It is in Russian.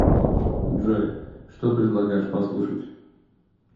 джой что предлагаешь послушать